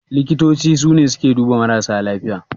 Likitoci sune suke duba marasa lafiya.